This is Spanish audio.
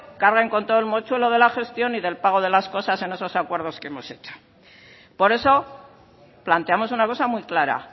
cargan con todo el mochuelo de la gestión y del pago de las cosas en esos acuerdos que hemos hecho por eso planteamos una cosa muy clara